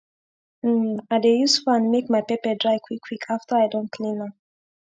um i dey use fan make my pepper dry quick quick afta i don clean am